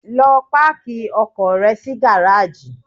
Lọ páàkì ọkọ̀ rẹ sí gáráàjì!